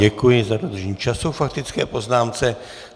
Děkuji za dodržení času k faktické poznámce.